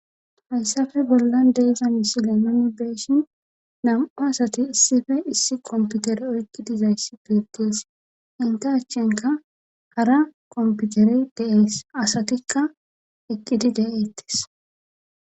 hayssafe bollan de'iza misile nuni be'eshin nam7u asati issife issi komputere oygi dizayssi beetees inte achchenka hara komputere deees asatikka eqqidi de7eettes